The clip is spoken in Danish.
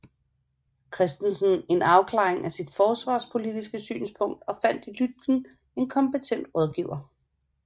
Christensen en afklaring af sit forsvarspolitiske synspunkt og fandt i Lütken en kompetent rådgiver